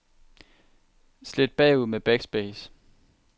Slet bagud med backspace.